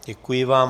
Děkuji vám.